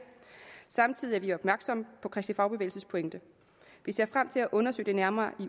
samtidig er vi opmærksomme på kristelig fagbevægelses pointe vi ser frem til at undersøge det nærmere